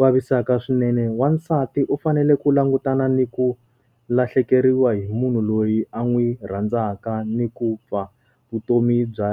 vavisaka swinene. Wansati u fanele ku langutana ni ku lahlekeriwa hi munhu loyi a n'wi rhandzaka ni ku fa vutomi bya